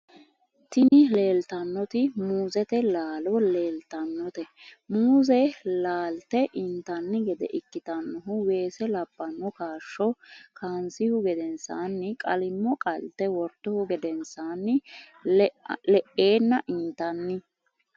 tini leelitannoti muuzete laalo laalitannote. muuze laalte intanni gede ikkitannohu weese labbanno kaasho kanisihu gedensaanni qalimmo qalte wortuhu gadensanni le'enna intanni.